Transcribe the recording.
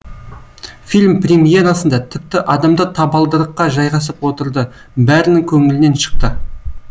фильм премьерасында тіпті адамдар табалдырыққа жайғасып отырды бәрінің көңілінен шықты